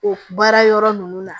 O baara yɔrɔ ninnu na